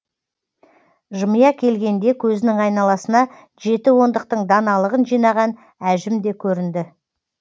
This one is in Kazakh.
жымия келгенде көзінің айналасына жеті ондықтың даналығын жинаған әжім де көрінді